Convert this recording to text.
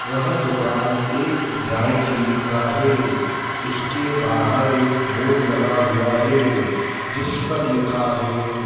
वह दुकान एक ड्राई क्लीन का है उसके बाहर एक बोर्ड लगा हुआ है जिस पर लिखा है।